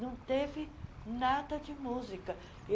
Não teve nada de música.